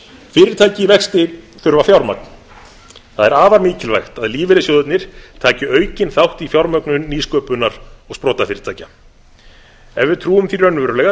fyrirtæki í vexti þurfa fjármagn það er afar mikilvægt að lífeyrissjóðirnir taki aukinn þátt í fjármögnun nýsköpunar og sprotafyrirtækja ef við trúum því raunverulega að